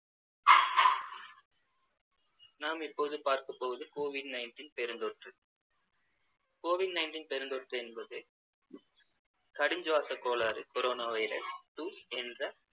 நாம் இப்போது பார்க்க போவது covid nineteen பெருந்தொற்று covid ninteen பெருந்தொற்று என்பது கடுஞ்சுவாசக் கோளாறு corona virus two என்ற